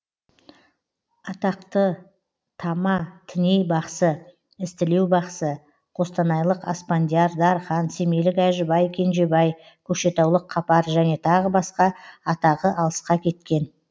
атақтытама тіней бақсы ізтілеу бақсы қостанайлық аспандияр дархан семейлік әжібай кенжебай көкшетаулық қапаржәне тағы басқа атағы алысқа кеткен